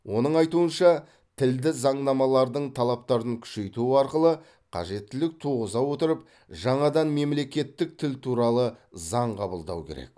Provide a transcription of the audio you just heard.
оның айтуынша тілді заңнамалардың талаптарын күшейту арқылы қажеттілік туғыза отырып жаңадан мемлекеттік тіл туралы заң қабылдау керек